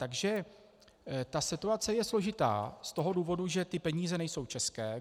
Takže ta situace je složitá z toho důvodu, že ty peníze nejsou české.